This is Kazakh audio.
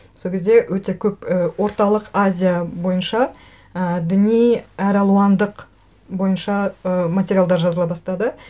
сол кезде өте көп і орталық азия бойынша і діни әралуандық бойынша ы материалдар жазыла бастады